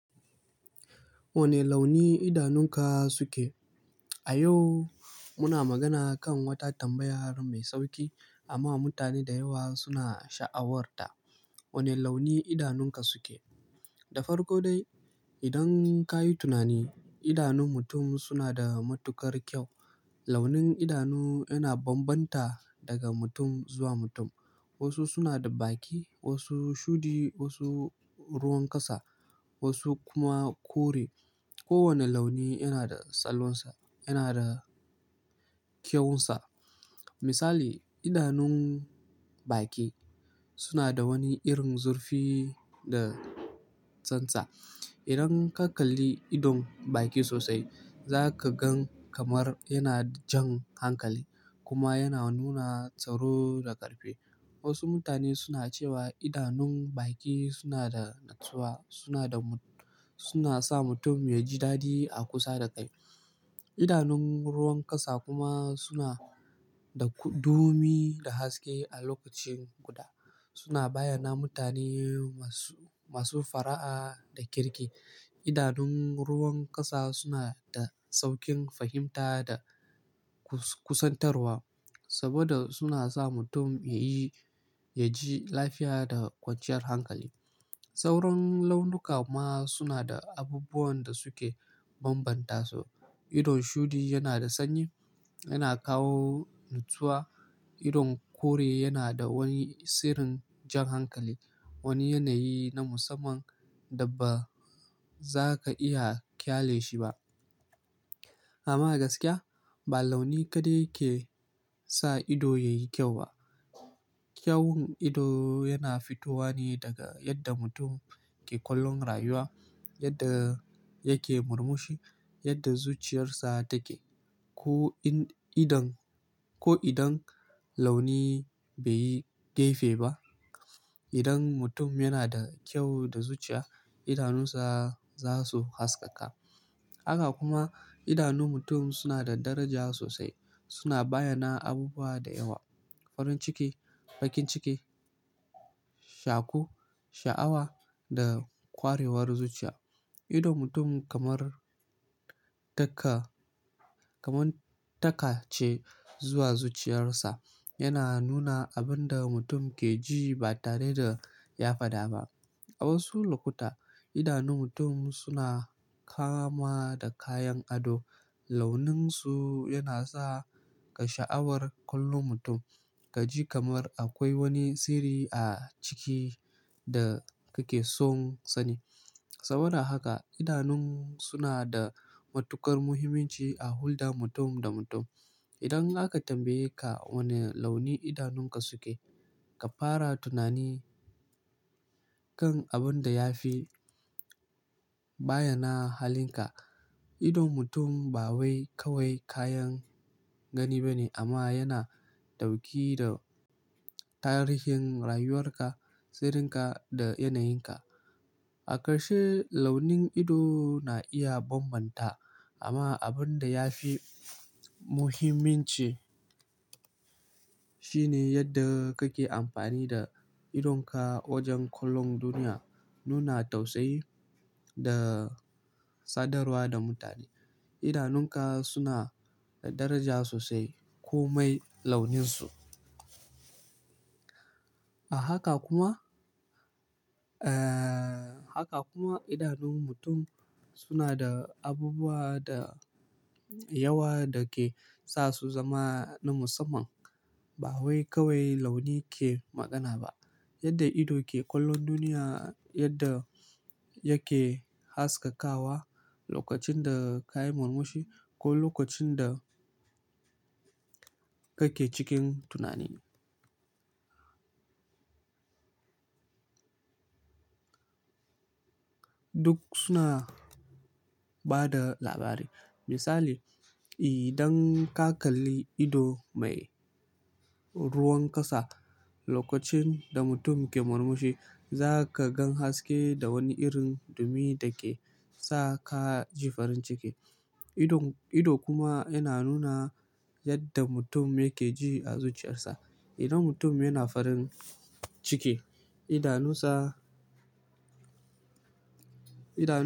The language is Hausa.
Wane launi idanunka suke? A yau, muna magana kan wata tambayar mai sauƙi amma mutane da yawa suna sha'awar ta. Wane launi idanunka suke? Da farko dai, idan ka yi tunani, idanun mutum suna da matuƙar kyau. Launi idanu yana bambanta daga mutum zuwa mutum. Wasu suna da baki, wasu shudi, wasu ruwan ƙasa, wasu kuma kore. Kowane launi yana da tsallansa, yana da kyawunsa. Misali, idanun baki suna da wani irin zurfi da tsantsa. Idan ka kalli ido baki sosai, za ka gan kamar yana jan hankali kuma yana nuna tsaro da ƙarfi. Wasu mutane suna cewa idanun baki suna da natsuwa, suna sa mutum ya ji dadi a kusa da kai. Idanun ruwan ƙasa kuma suna da dumi da haske a lokaci guda. Suna bayyana mutane masu fara'a da kirki. Idanun ruwan ƙasa suna da sauƙin fahimta da kusantarwa saboda suna sa mutum ya ji lafiya da kwanciyar hankali. Sauran launuka ma suna da abubuwan da suke bambanta su. Idon shudi yana da sanyi, yana kawo natsuwa. Idon kore yana da wani sirrin jan hankali, wani yanayi na musamman da ba za ka iya kyalashi ba. Amma gaskiya, ba launi kaɗai ke sa ido ya yi kyau ba. Kyawun ido yana fitowa ne daga yadda mutum ke kallon rayuwa, yadda yake murmushi, yadda zuciyarsa take. Ko idan launi bai yi gafe ba, idan mutum yana da kyau da zuciya, idanunsa za su haskaka. Haka kuma idanun mutum suna da daraja sosai. Suna bayyana abubuwa da yawa, farin ciki, bakin ciki, shaku, sha'awa da kwarewar zuciya. Idon mutum kamar taka ce zuwa zuciyarsa. Yana nuna abin da mutum ke ji ba tare da ya faɗa ba. A wasu lokuta, idanun mutum suna kama da kayan ado. Launinsu yana sa ka sha'awar kallon mutum, ka ji kamar akwai wani sirri a ciki da kake so ka sani. Saboda haka idanun suna da matuƙar muhimmanci a hulɗar mutum da mutum. Idan aka tambaye ka wane launi idanunka suke, ka fara tunani kan abin da ya fi bayyana halinka. Idon mutum ba wai kawai kayan gani bane amma yana dauki da tarihin rayuwar ka, sirrinka da yanayinka. A ƙarshe, launin ido na iya bambanta amma abin da ya fi muhimmanci shine yadda kake amfani da idonka wajen kallon duniya, nuna tausayi da sadarwa da mutane. Idanunka suna da daraja sosai komai launinsu. Haka kuma idanun mutum suna da abubuwa da yawa da ke sa su zama na musamman. Ba wai kawai launi ke magana ba, yadda ido ke kallon duniya, yadda yake haskakawa lokacin da ka yi murmushi ko lokacin da kake cikin tunani. Duk suna ba da labari. Misali, idan ka kalli ido mai ruwan ƙasa lokacin da mutum ke murmushi, za ka gan haske da wani irin dumi da ke sa ka ji farin ciki. Ido kuma yana nuna yadda mutum yake ji a zuciyarsa. Idan mutum yana farin ciki, idanunsa.